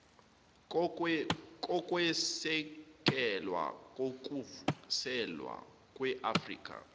kokwesekelwa kokuvuselelwa kweafrika